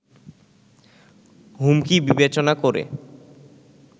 হুমকি বিবেচনা করে